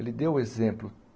Ele deu o exemplo.